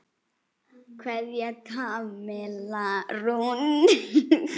Kveðja, Kamilla Rún.